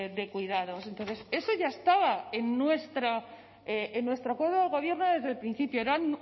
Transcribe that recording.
de cuidados entonces eso ya estaba en nuestro acuerdo de gobierno desde el principio era